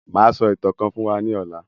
Máa sọ ìtàn kàn fún wa ní ọ̀la